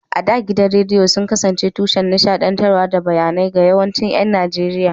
A da, gidajen rediyo sun kasance tushen nishaɗantarwa da bayanai ga yawancin ƴan Najeriya.